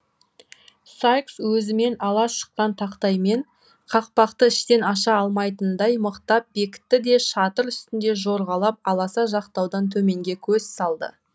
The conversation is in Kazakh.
сайкс өзімен ала шыққан тақтаймен қақпақты іштен аша алмайтындай мықтап бекітті де шатыр үстінде жорғалап аласа жақтаудан төменге көз салды